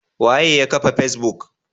Waye yakafa facebook?